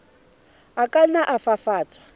a ka nna a fafatswa